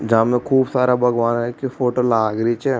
जा मे खूब सारा भगवान् के फोटो लाग रि छे।